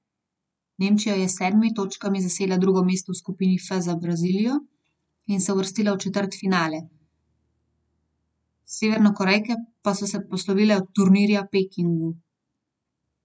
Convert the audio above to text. Nemčija je s sedmimi točkami zasedla drugo mesto v skupini F za Brazilijo in se uvrstila v četrtfinale, Severnokorejke pa so se poslovile od turnirja Pekingu.